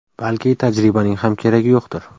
Balki tajribaning ham keragi yo‘qdir.